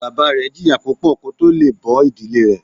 Bàbá rẹ jìyà púpọ̀ kó tó le è bó ìdílé rẹ̀